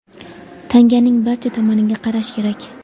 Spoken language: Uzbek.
Tanganing barcha tomoniga qarash kerak.